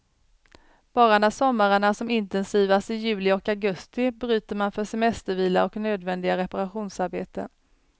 Bara när sommaren är som intensivast i juli och augusti bryter man för semestervila och nödvändiga reparationsarbeten.